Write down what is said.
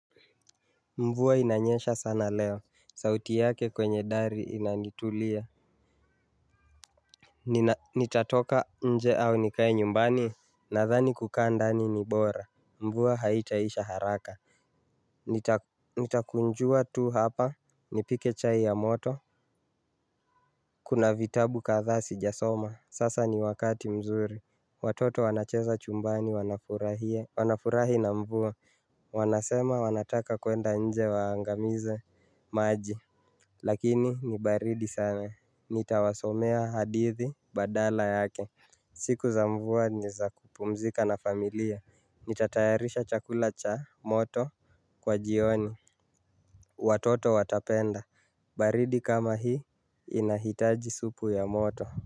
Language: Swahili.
Mvuwa inanyesha sana leo. Sauti yake kwenye dari inanitulia. Nitatoka nje au nikaye nyumbani. Nadhani kukaa ndani ni bora. Mvuwa haitaisha haraka. Nitakunjua tu hapa. Nipike chai ya moto. Kuna vitabu kadhaa sijasoma. Sasa ni wakati mzuri. Watoto wanacheza chumbani wanafurahia, wanafurahi na mvuwa. Wanasema wanataka kwenda nje waangamize maji. Lakini ni baridi sana nitawasomea hadithi badala yake siku za mvuwa niza kupumzika na familia. Nitatayarisha chakula cha moto kwa jioni. Watoto watapenda. Baridi kama hii inahitaji supu ya moto.